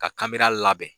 Ka kabere labɛn